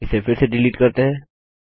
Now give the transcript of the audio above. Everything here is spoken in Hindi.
इसे फिर से डिलीट करते हैं